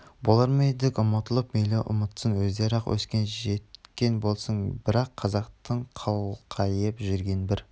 болар ма едік ұмытып мейлі ұмытсын өздері-ақ өскен жеткен болсын бірақ қазақтың қалқайып жүрген бір